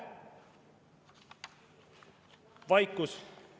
Vaikus.